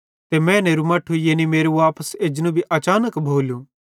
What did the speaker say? ते मैनेरे मट्ठू यानी मेरू वापस एजनू भी अचानक भोलू